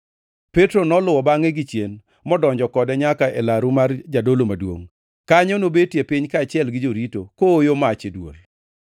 Petro noluwo bangʼe gichien, modonjo kode nyaka e laru mar jadolo maduongʼ. Kanyo nobetie piny kaachiel gi jorito, kooyo mach e dwol.